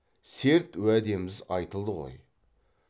серт уәдеміз айтылды ғой